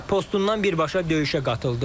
Postundan birbaşa döyüşə qatıldı.